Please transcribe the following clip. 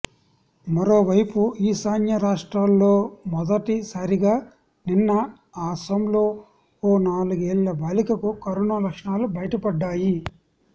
మరోవైపు ఈశాన్య రాష్ట్రాల్లో మొదటి సారిగా నిన్న అసోంలో ఓ నాలుగేళ్ల బాలికకు కరోనా లక్షణాలు బయటపడ్డాయి